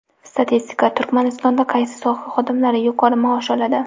Statistika: Turkmanistonda qaysi soha xodimlari yuqori maosh oladi?.